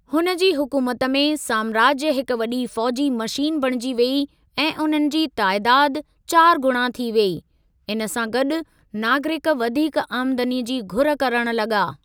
हुन जी हुकूमत में, साम्राज्य हिक वॾी फ़ौजी मशीन बणिजी वेई ऐं उन्हनि जी तइदाद चार गुणा थी वेई, इन सां गॾु नागरिक वधीक आमदनीअ जी घुर करण लॻा।